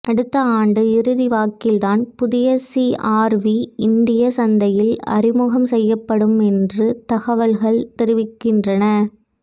அடுத்த ஆண்டு இறுதி வாக்கில்தான் புதிய சிஆர்வி இந்திய சந்தையில் அறிமுகம் செய்யப்படும் என்று தகவல்கள் தெரிவிக்கின்றன